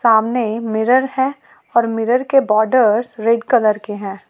सामने मिरर है और मिरर के बॉडर रेड कलर के हैं।